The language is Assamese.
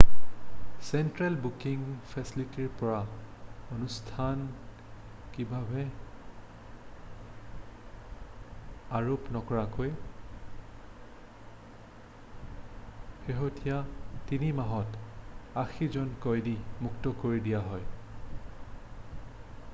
চেন্ট্ৰেল বুকিং ফেছেলিটিৰ পৰা আনুষ্ঠানিকভাৱে আৰোপ নকৰাকৈ শেহতীয়া 3 মাহত 80 জন কয়দী মুক্ত কৰি দিয়া হয়